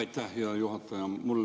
Aitäh, hea juhataja!